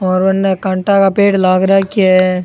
और उनने कांटा का पेड़ लाग राखा है।